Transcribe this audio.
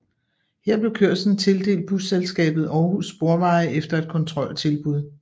Her blev kørslen tildelt Busselskabet Aarhus Sporveje efter et kontroltilbud